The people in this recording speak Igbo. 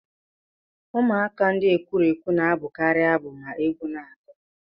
Ụmụaka ndị ekwurekwu na-abụkarị abụ ma egwu na agu